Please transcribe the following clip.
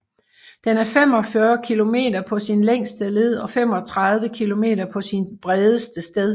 Den er 45 km på sin længste led og 35 km på sit bredeste sted